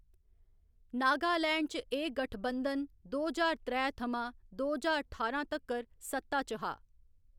नागालैंड च एह्‌‌ गंढ बंधन दो ज्हार त्रै थमां दो ज्हार ठारां तक्कर सत्ता च हा।